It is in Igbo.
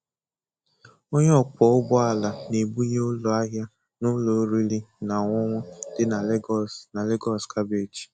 Onye ọkwọ ụgbọ ala na-ebunye ụlọ ahịa na ụlọ oriri na ọṅụṅụ dị na Lagos na Lagos kabeeji